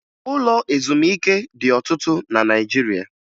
Ụlọ ezumike dị ọtụtụ na Naịjirịa